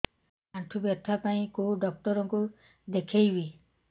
ଆଣ୍ଠୁ ବ୍ୟଥା ପାଇଁ କୋଉ ଡକ୍ଟର ଙ୍କୁ ଦେଖେଇବି